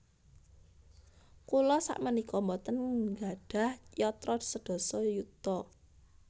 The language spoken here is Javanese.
Kula sakmenika mboten nggadhah yatra sedasa yuta